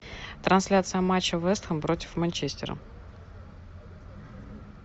трансляция матча вест хэм против манчестера